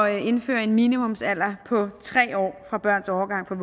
at indføre en minimumsalder på tre år for børns overgang fra